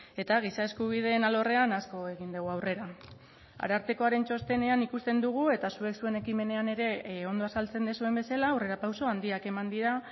eta giza eskubideen alorrean asko egin dugu aurrera arartekoaren txostenean ikusten dugu eta zuek zuen ekimenean ere ondo azaltzen duzuen bezala aurrerapauso handiak eman dira